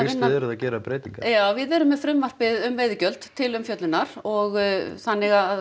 þið eruð að gera breytingar já við erum með frumvarpið um veiðigjöld til umfjöllunar og þannig að